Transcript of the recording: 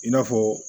I n'a fɔ